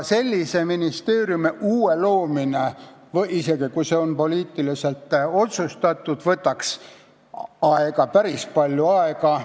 Päris uue ministeeriumi loomine – isegi kui see on poliitiliselt otsustatud – võtaks päris palju aega.